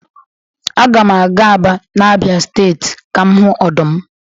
Aga m aga Aba na Abia steeti ka m hu odum.